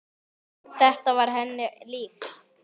Þetta var henni líkt.